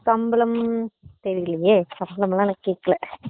சம்பளம் தெரியலையே சம்பளம்லா நான் கேக்காளா